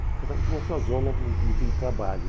Cada um tinha a sua zona de de de trabalho.